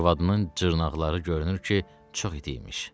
Arvadının dırnaqları görünür ki, çox iti imiş.